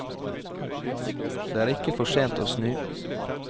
Det er ikke for sent å snu.